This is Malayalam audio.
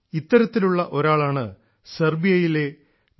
ഇത്തരത്തിലുള്ള ഒരാളാണ് സെർബിയയിലെ ഡോ